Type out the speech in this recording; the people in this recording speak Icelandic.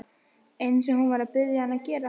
Eins og hún var að biðja hann að gera.